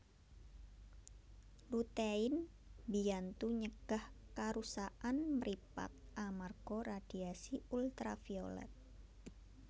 Lutein mbiyantu nyegah karusakan mripat amarga radiasi ultraviolet